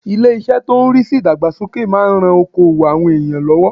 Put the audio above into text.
Ilé- isẹ́ tó n rí sí ìdàgbàsókè máa n ran okoòwò àwọn ènìyàn lọ́wọ́